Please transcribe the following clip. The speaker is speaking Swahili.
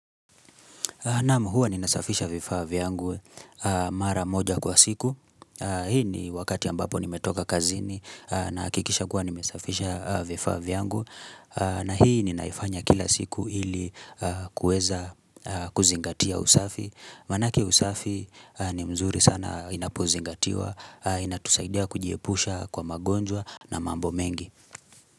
Naam, huwa ninasafisha vifaa vyangu mara moja kwa siku. Hii ni wakati ambapo nimetoka kazini nahakikisha kuwa nimesafisha vifaa vyangu. Na hii ninaifanya kila siku ili kuweza kuzingatia usafi. Manake usafi ni mzuri sana unapozingatiwa. Inatusaidia kujiepusha kwa magonjwa na mambo mengi.